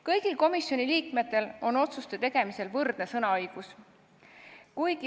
Kõigil komisjoni liikmetel on otsuste tegemisel võrdne sõnaõigus.